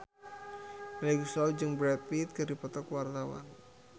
Melly Goeslaw jeung Brad Pitt keur dipoto ku wartawan